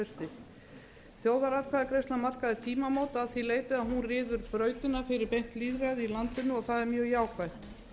hausti þjóðaratkvæðagreiðslan markaði tímamót að því leyti að hún ryður brautina fyrir beint lýðræði í landinu og það er mjög jákvætt